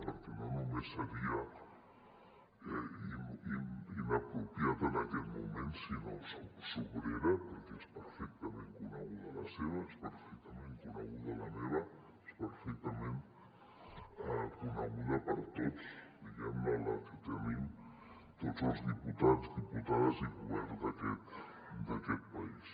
perquè no només seria inapropiada en aquest moment sinó sobrera perquè és perfectament coneguda la seva és perfectament coneguda la meva és perfectament coneguda per tots diguem ne la que tenim tots els diputats diputades i govern d’aquest país